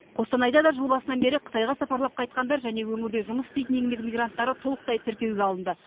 қостанайда да жыл басынан бері қытайға сапарлап қайтқандар және өңірде жұмыс істейтін еңбек мигранттары толықтай тіркеуге алынды